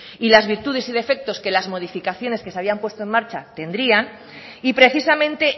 y las virtudes y defectos que las modificaciones que se habían puesto en marcha tendrían y precisamente